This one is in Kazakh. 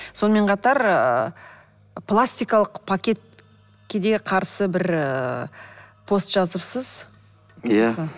сонымен қатар ыыы пластикалық пакетке де қарсы бір ыыы пост жазыпсыз иә